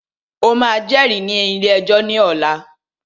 O máà jẹ́rìí ní ilé ẹjọ́ ní ọ̀la!